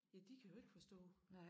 Ja de kan jo ikke forstå